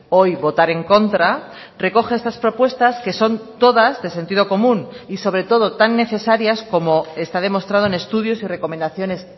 hoy votar en contra recoge estas propuestas que son todas de sentido común y sobre todo tan necesarias como está demostrado en estudios y recomendaciones